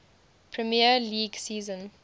premier league season